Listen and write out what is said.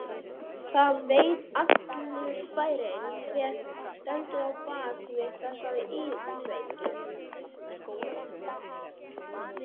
Það veit allur bærinn hver stendur á bak við þessar íkveikjur.